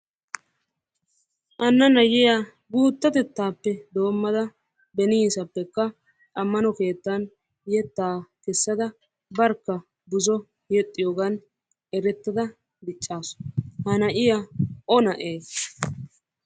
Hanna nayiya guuttatettaappe doommada beniisappekka ammano keettan yettaa kessada barkka buzo yexxiyogan erettada diccaasu. Ha na'iya O na'eeshsha?